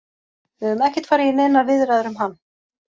Við höfum ekkert farið í neinar viðræður um hann.